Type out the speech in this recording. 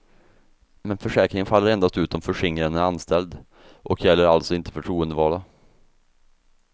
Men försäkringen faller endast ut om förskingraren är anställd, och gäller alltså inte förtroendevalda.